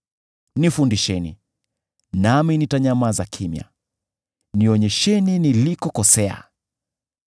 “Nifundisheni, nami nitanyamaza kimya; nionyesheni nilikokosea.